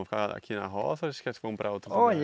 Vão ficar aqui na roça ou eles querem se comprar outro lugar? Olhe